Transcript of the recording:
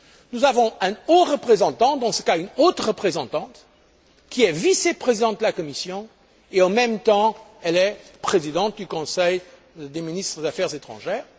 Nous avons un haut représentant, dans ce cas une haute représentante, qui est vice présidente de la Commission et, en même temps, présidente du Conseil des ministres des affaires étrangères.